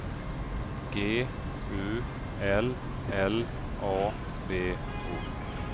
G U L L A B O